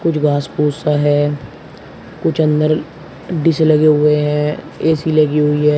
कुछ घास फूस सा है कुछ अंदर डिश लगे हुए हैं ऐसी लगी हुई है।